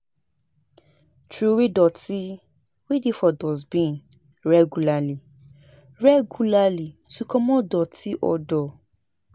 Trowey doti wey dey for dustbin regularly regularly to comot doti odour